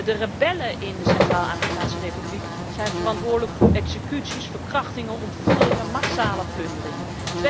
De rebellen in de Centraal Afrikaanse Republiek zijn verantwoordelijk voor executies, verkrachtingen, ontvoeringen en massale plunderingen.